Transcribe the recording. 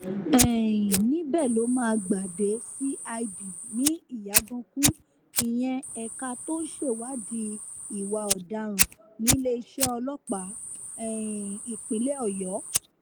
um níbẹ̀ ló máa gbà dé cid ní ìyàgànkù ìyẹn ẹ̀ka tó ń ṣèwádìí ìwà ọ̀daràn níléeṣẹ́ ọlọ́pàá um ìpínlẹ̀ ọ̀yọ́